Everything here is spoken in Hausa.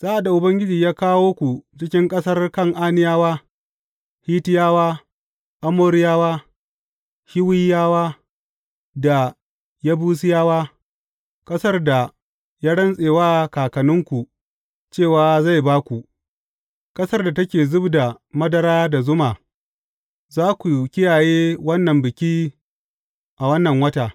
Sa’ad da Ubangiji ya kawo ku cikin ƙasar Kan’aniyawa, Hittiyawa, Amoriyawa, Hiwiyawa da Yebusiyawa, ƙasar da ya rantse wa kakanninku cewa zai ba ku, ƙasar da take zub da madara da zuma, za ku kiyaye wannan biki a wannan wata.